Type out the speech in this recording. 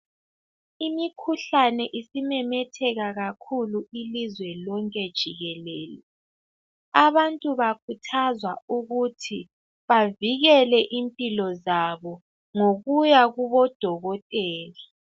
Imikhuhlane isimemetheka kakhulu, ilizwe lonke jikeleke. Abantu bakhuthazwa ukuthi bavikele impilo zabo, ngokuya kubodokitela.